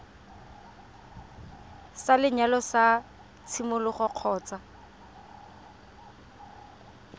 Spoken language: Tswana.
sa lenyalo sa tshimologo kgotsa